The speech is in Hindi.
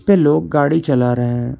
पे लोग गाड़ी चला रहे हैं।